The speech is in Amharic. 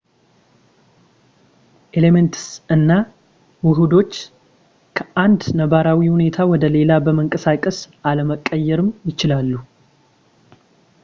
ኤሌመንትስ እና ውሕዶች ከአንድ ነባራዊ ሁኔታ ወደ ሌላ በመንቀሳቀስ አለመቀየርም ይችላሉ